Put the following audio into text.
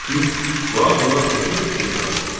Bu ağlına xüsusi bir fikir salır.